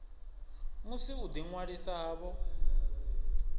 musi u ḓi ṅwalisa havho